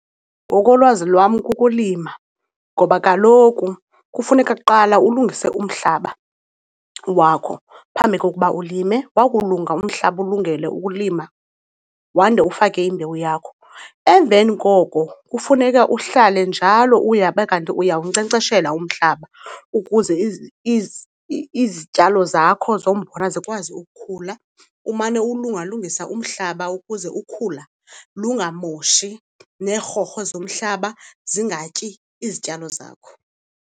Ngokolwazi lwam, kukulima. Ngoba kaloku kufuneka kuqala ulungise umhlaba wakho phambi kokuba ulime, wakulunga umhlaba ulungele ukulima wande ufake imbewu yakho. Emveni koko kufuneka uhlale njalo uyabe kanti uyawunkcenkceshela umhlaba ukuze izityalo zakho zombona zikwazi ukukhula. Umane uwulungalungisa umhlaba ukuze ukhula lungamoshi neerhorho zomhlaba zingatyi izityalo zakho.